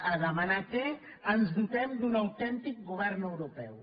a demanar que ens dotem d’un autèntic govern europeu